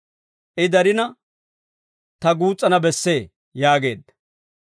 I darina ta guus's'ana bessee» yaageedda.